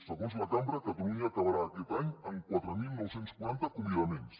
segons la cambra catalunya acabarà aquest any amb quatre mil nou cents i quaranta acomiadaments